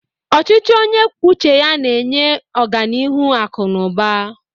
Ọchịchị onye kwuo uche ya na-enye ọganihu akụ na ụba.